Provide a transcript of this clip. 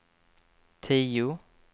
tio